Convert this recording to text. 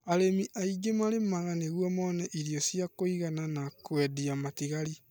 arĩmi aingĩ marĩmanga nĩguo mone irio cia kũingana na kũendia Matingari